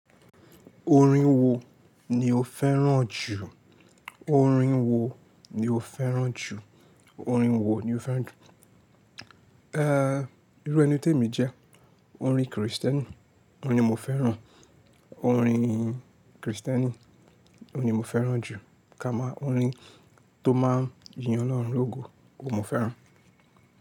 Orin wo ni o fẹ́ràn jù? Orin wo ni o fẹ́ràn jù? Orin wo ni o fẹ́ràn jù? Irú ẹni tí èmi jẹ́, orin Kristẹni ni mo fẹ́ràn, orin Kristẹni ni mo fẹ́ràn jù, kama orin tó máa yin Ọlọ́run lógo ni mo fẹ́ràn.